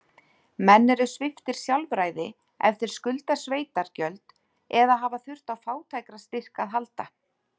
Menn eru sviptir sjálfræði ef þeir skulda sveitargjöld, eða hafa þurft á fátækrastyrk að halda.